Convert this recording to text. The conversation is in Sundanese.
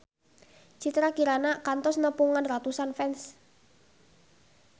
Citra Kirana kantos nepungan ratusan fans